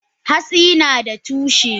Hatsi nada tushe.